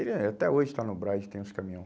Ele é até hoje está no Braz e tem os caminhão.